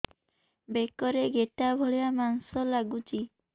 ବେକରେ ଗେଟା ଭଳିଆ ମାଂସ ଲାଗୁଚି